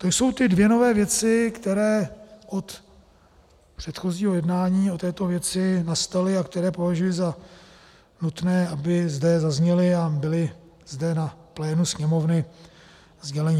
To jsou ty dvě nové věci, které od předchozího jednání o této věci nastaly a které považuji za nutné, aby zde zazněly a byly zde na plénu Sněmovny sděleny.